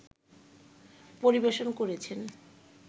পরিবেশন করেছেন